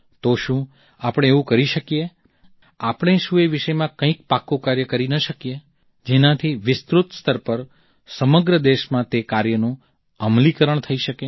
તો શું આપણે એવું કરી શકીએ આપણે શું એ વિષયમાં કંઈક પાક્કુ કાર્ય કરી ન શકીએ જેનાથી વિસ્તૃત સ્તર પર સમગ્ર દેશમાં તે કાર્યનું અમલીકરણ થઈ શકે